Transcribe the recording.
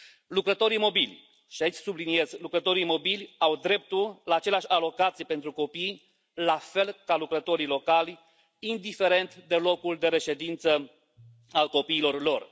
Lucrătorii mobili și aici subliniez lucrătorii mobili au dreptul la aceleași alocații pentru copii, la fel ca lucrătorii locali, indiferent de locul de reședință al copiilor lor.